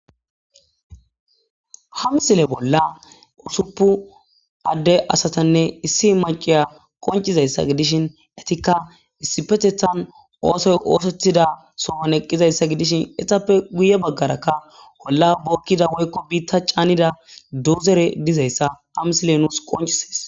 Hamsile bolla usuppu adde asatanne issi maciya qoncizayssa gidishin etikka issi petethan oosoy oosethida sohon eqqizayssa gidishin etappe guye baggarakka wolla bookkida woykko biitta caanida dozere dizayssa hamsile nuus qonchises.